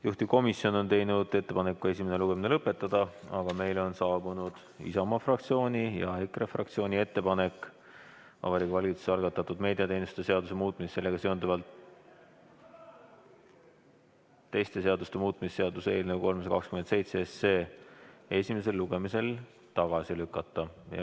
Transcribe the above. Juhtivkomisjon on teinud ettepaneku esimene lugemine lõpetada, aga meile on saabunud Isamaa fraktsiooni ja EKRE fraktsiooni ettepanek Vabariigi Valitsuse algatatud meediateenuste seaduse muutmise ja sellega seonduvalt teiste seaduste muutmise seaduse eelnõu 327 esimesel lugemisel tagasi lükata.